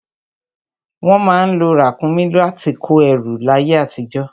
Wọ́n má ń lo ràkúnmí láti kó ẹrù láyé àtijọ́